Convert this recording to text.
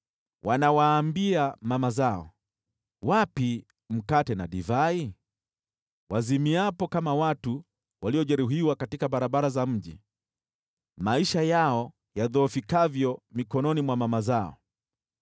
Wanawaambia mama zao, “Wapi mkate na divai?” wazimiapo kama watu waliojeruhiwa katika barabara za mji, maisha yao yadhoofikavyo mikononi mwa mama zao.